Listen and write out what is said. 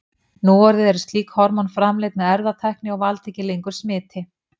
Núorðið eru slík hormón framleidd með erfðatækni og valda ekki lengur smiti.